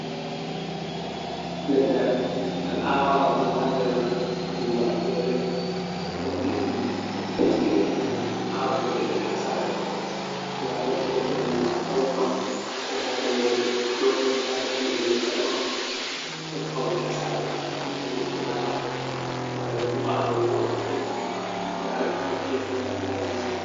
Leggal ngal awama bo haa nder ngumbal fere latti ɗum ɗo taskite ngam awugo leɗɗe ha sare, lattabo leɗɗe man ngam paune on ko ma rimoje. Ɗoni misalu holli ni leggal on ɗom paune ha sare ɗum wiyete fulawa, sare bo nyibalo woɗɗdu masin ngam nda ɗo tanki da tais.